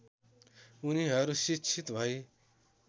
उनीहरू शिक्षित भई